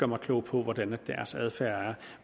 mig klog på hvordan deres adfærd er